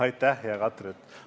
Aitäh, hea Katri!